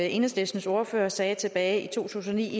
enhedslistens ordfører sagde tilbage i to tusind og ni i